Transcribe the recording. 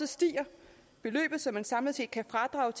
stiger beløbet så man samlet set kan fradrage